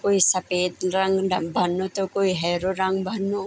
कुई सपेद रंग ढंग भनु त कुई हेरू रंग भनु।